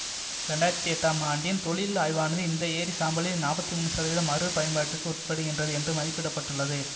இரண்டு ஆயிரத்தி எட்டாம் ஆண்டின் தொழில் ஆய்வானது இந்த எரி சாம்பலில் நாற்பத்தி மூன்னு சதவிதம் மறு பயன்பாட்டிற்க்கு உட்படுத்தப்படுகின்றது என்று மதிப்பிட்டுள்ளது